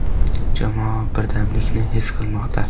Jamoa birdamlikni his qilmoqda.